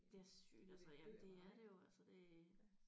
Det er sygt altså jamen det er det jo altså det